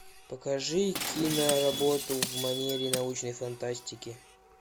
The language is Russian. покажи киноработу в манере научной фантастики